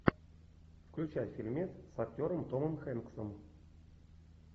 включай фильмец с актером томом хэнксом